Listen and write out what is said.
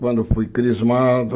Quando fui crismado...